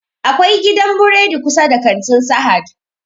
Akwai gidan buredi kusa da kantin sahad